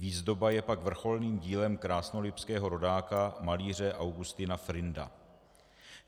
Výzdoba je pak vrcholným dílem krásnolipského rodáka malíře Augusta Frinda.